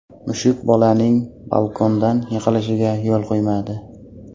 Mushuk bolaning balkondan yiqilishiga yo‘l qo‘ymadi.